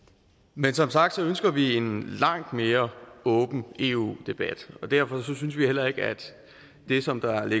men som sagt ønsker vi en langt mere åben eu debat og derfor synes vi heller ikke at det som der